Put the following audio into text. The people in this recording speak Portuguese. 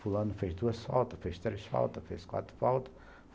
Fulano fez duas faltas, fez três faltas, fez quatro faltas.